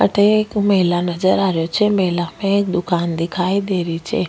अठे एक मेला नजर आ रेहो छे मेला में एक दुकान दिखाई दे री छे।